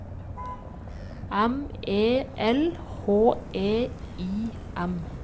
M E L H E I M